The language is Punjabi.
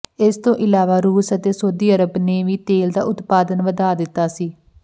ਇਸ ਤੋਂ ਇਲਾਵਾ ਰੂਸ ਅਤੇ ਸਊਦੀ ਅਰਬ ਨੇ ਵੀ ਤੇਲ ਦਾ ਉਤਪਾਦਨ ਵਧਾ ਦਿਤਾ ਸੀ